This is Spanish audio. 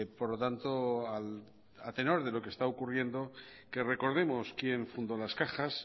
por lo tanto a tenor de lo que está ocurriendo que recordemos quién fundó las cajas